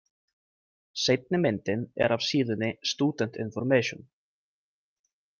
Seinni myndin er af síðunni Student information.